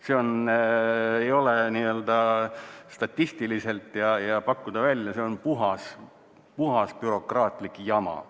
See ei ole statistiliselt võimalik ja kui seda pakkuda välja, siis see on puhas bürokraatlik jama.